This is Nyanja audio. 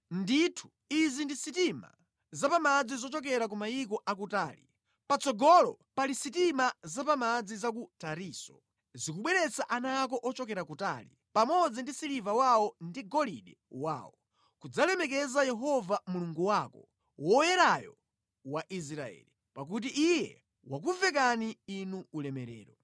Ndithu, izi ndi sitima za pa madzi zochokera ku mayiko akutali; patsogolo pali sitima zapamadzi za ku Tarisisi, zikubweretsa ana ako ochokera kutali, pamodzi ndi siliva wawo ndi golide wawo, kudzalemekeza Yehova Mulungu wako, Woyerayo wa Israeli, pakuti Iye wakuvekani inu ulemerero.